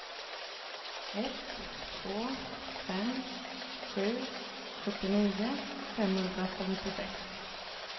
ett två fem sju sjuttionio femhundrafemtiosex